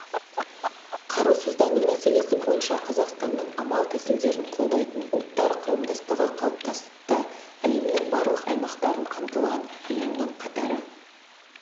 қарусыздану мәселелері бойынша қазақстанның амал-тәсілдерін қолдайтын ұлттар қауымдастығы қалыптасты әлемнің барлық аймақтарын қамтыған ұйымның қатары